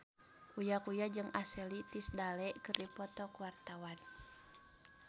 Uya Kuya jeung Ashley Tisdale keur dipoto ku wartawan